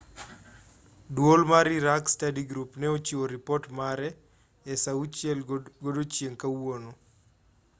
duol mar iraq study group ne ochiwo ripot mare e saa 12.00 gmt kawuono